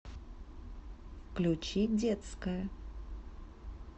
включи детская